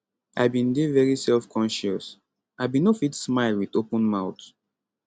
i bin dey very self conscious i bin no fit smile wit open mouth